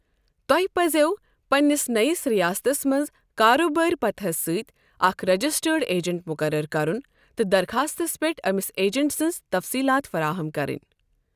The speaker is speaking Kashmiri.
تۄہہِ پزٮ۪و پنٛنس نٔوس ریاستَس منٛز کاربٲرۍ پتہَس سۭتۍ اکھ رجسٹرڈ ایجنٹ مقرر کرن تہٕ درخاستس پٮ۪ٹھ أمس ایجنٹ سٕنٛز تفصیلات فراہم کرٕنۍ۔